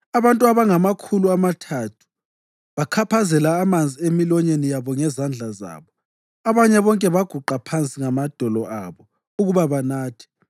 Abantu abangamakhulu amathathu bakhaphazela amanzi emilonyeni yabo ngezandla zabo. Abanye bonke baguqa phansi ngamadolo abo ukuba banathe.